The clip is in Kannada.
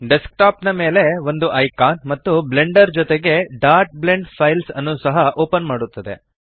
ಡೆಸ್ಕಟಾಪ್ ಮೇಲೆ ಒಂದು ಐಕಾನ್ ಮತ್ತು ಬ್ಲೆಂಡರ್ ಜೊತೆಗೆ blend ಫೈಲ್ಸ್ ಅನ್ನು ಸಹ ಓಪನ್ ಮಾಡುತ್ತದೆ